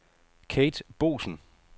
Kate Boesen